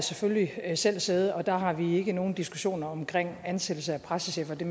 selvfølgelig selv siddet og der har vi ikke nogen diskussioner omkring ansættelse af pressechefer det